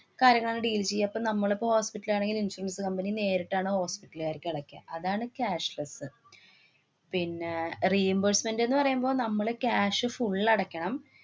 കാര്യങ്ങളാണ് deal ചെയ്യുക. പ്പ നമ്മളിപ്പ hospital ലാണെങ്കില്‍ insurance company നേരിട്ടാണ് hospital കാര്ക്ക് അടയ്ക്കുക. അതാണ് cashless അ്. പിന്നെ reimbursement എന്ന് പറയുമ്പ നമ്മള് cash full അടയ്ക്കണം.